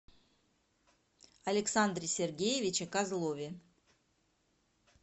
александре сергеевиче козлове